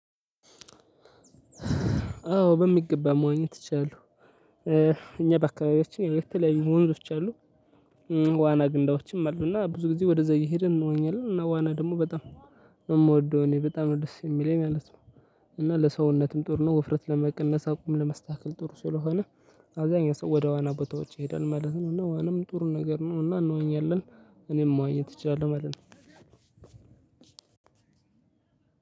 አዎ በሚገባ መዋኘት እችላለሁ። እኛ በአካባቢዎች የተለያዩ ወንዞች አሉ። ዋና ገንዳዎችም አሉ እና ብዙ ጊዜ ወደዛ እየሄድን እንዋኛለን እና ዋና ደግሞ በጣም የምወደው እኔ በጣም ነው ደስ የሚለኝ ማለት ነው። እና ለሰውነትም ጥሩ ነው ውፍረት ለመቀነስ አቋም ለማስተካከል ጥሩ ስለሆነ። አብዛኛው ሰው ወደ ዋና ቦታዎች ይሄዳል ማለት ነው። እና ዋናም ጥሩ ነገር ነው እና እንዋኛለን። እኔም መዋኘት እችላለሁ ማለት ነው።